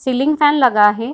Ceiling fan लगा है।